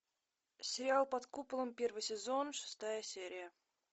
сериал под куполом первый сезон шестая серия